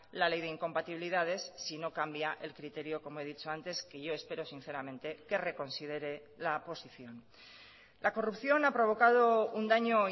la ley de incompatibilidades si no cambia el criterio como he dicho antes que yo espero sinceramente que reconsidere la posición la corrupción ha provocado un daño